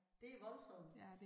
Det voldsomt